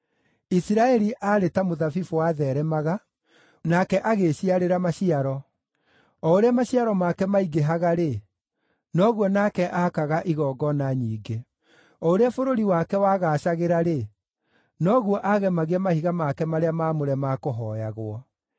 Isiraeli aarĩ ta mũthabibũ watheeremaga, nake agĩĩciarĩra maciaro. O ũrĩa maciaro make maingĩhaga-rĩ, noguo nake aakaga igongona nyingĩ; o ũrĩa bũrũri wake wagaacagĩra-rĩ, noguo aagemagia mahiga make marĩa maamũre ma kũhooyagwo.